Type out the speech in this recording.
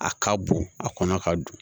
A ka bon a kɔnɔ ka don